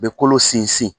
U bɛ kolo sinsin